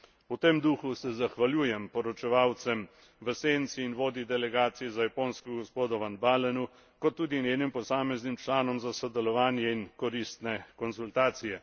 V tem duhu se zahvaljujem poročevalcem v senci in vodji delegacije za Japonsko gospodu van Baalenu, kot tudi njenim posameznim članom za sodelovanje in koristne konzultacije.